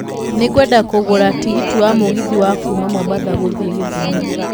Nĩ ngwenda kũgũra tigiti wa mũgithi wa kuuma mombatha gũthiĩ githumo